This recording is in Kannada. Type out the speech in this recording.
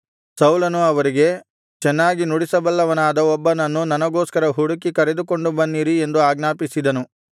ಸೌಲನು ಅವರಿಗೆ ಚೆನ್ನಾಗಿ ನುಡಿಸಬಲ್ಲವನಾದ ಒಬ್ಬನನ್ನು ನನಗೋಸ್ಕರ ಹುಡುಕಿ ಕರೆದುಕೊಂಡು ಬನ್ನಿರಿ ಎಂದು ಆಜ್ಞಾಪಿಸಿದನು